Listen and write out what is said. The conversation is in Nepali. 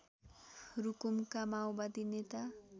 रुकुमका माओवादी नेता